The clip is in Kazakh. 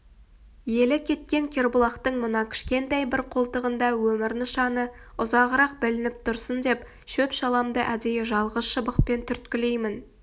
елі кеткен кербұлақтың мына кішкентай бір қолтығында өмір нышаны ұзағырақ білініп тұрсын деп шөп-шаламды әдейі жалғыз шыбықпен түрткілеймін